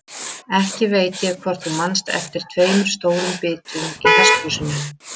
Ekki veit ég hvort þú manst eftir tveimur stórum bitum í hesthúsinu.